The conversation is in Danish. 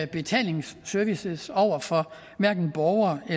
betalingsservices over for borgere og